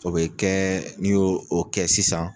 O bɛ kɛ n'i yo o kɛ sisan.